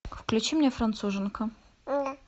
включи мне француженка